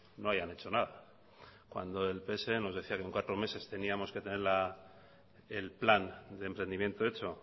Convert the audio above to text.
no hayan hecho nada cuando el pse nos decía que en cuatro meses teníamos que tener el plan de emprendimiento hecho